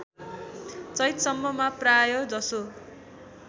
चैतसम्ममा प्रायःजसो